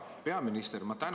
Hea peaminister!